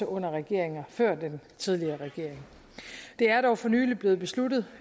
under regeringer før den tidligere regering det er dog for nylig blevet besluttet